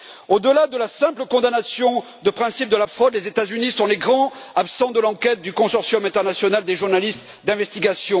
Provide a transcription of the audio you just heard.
Au delà de la simple condamnation de principe de la fraude, les États Unis sont les grands absents de l'enquête du consortium international des journalistes d'investigation.